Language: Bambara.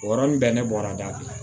O yɔrɔnin bɛɛ ne bɔra da